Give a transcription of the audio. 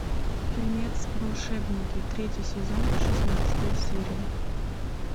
фильмец волшебники третий сезон шестнадцатая серия